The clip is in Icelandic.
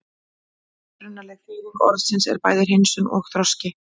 Upprunaleg þýðing orðsins er bæði hreinsun og þroski.